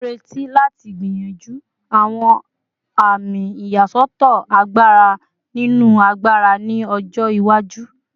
Mo n reti lati gbiyanju awọn ami iyasọtọ agbara mimu agbara ni ọjọ iwaju